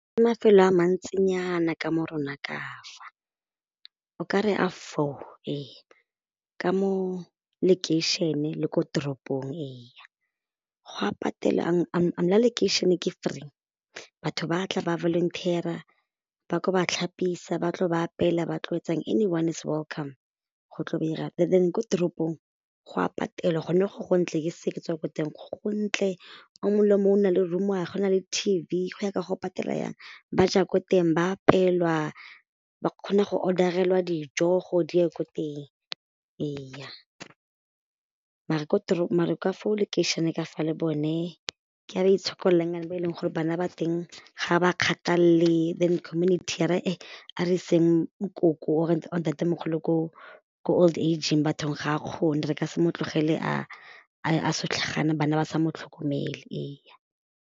Ke mafelo a mantsinyana ka mo rona ka fa o ka re a four ee ka mo lekeišene le ko toropong eya go a la lekeišene ke free batho ba tla ba volunteer-ra ba tlo ba tlhapisa ba tlo ba apeela ba tlo etsang, anyone is welcome , and then ko toropong go a patelwa gone go go ntle ke se ke tswa ko teng go ntle o mongwe le yo mongwe o na le room ya 'gwe o na le T_V go ya ka gore o patela jang, ba ja ko teng ba apeelwa ba kgona go order-relwa dijo gore di ye ko teng ee mare mare ke fo lekeišeneng ka fale bone ke ba ba itshokolelang ba e leng gore bana ba teng ga ba ba kgathalele then community ya re a re iseng nkoko or ntatemogolo ko old age-ng bathong ga a kgone re ka se mo tlogele a setlhoga jaana bana ba sa motlhokomele .